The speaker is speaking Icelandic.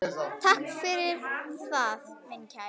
Takk fyrir það, minn kæri.